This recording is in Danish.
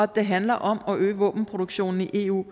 det handler om at øge våbenproduktionen i eu